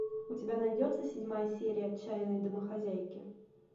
у тебя найдется седьмая серия отчаянные домохозяйки